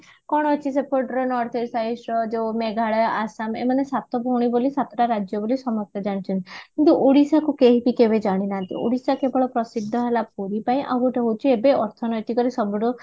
କଣ ଅଛି ସେପଟରେ north east site ର ଯୋଉ ମେଘାଲୟ ଆସାମ ଏମାନେ ସାତ ଭଉଣି ବୋଲି ସାତଟା ରାଜ୍ୟ ବୋଲି ସମସ୍ତେ ଜାଣିଛନ୍ତି କିନ୍ତୁ ଓଡିଶାକୁ କେହିବି କେବେ ଜାଣି ନାହାନ୍ତି ଓଡିଶା କେବଳ ପ୍ରସିଦ୍ଧ ହେଲା ପୁରୀ ପାଇଁ ଆଉ ଏବେ ଅର୍ଥନୈତିକ ରେ ସବୁଠୁ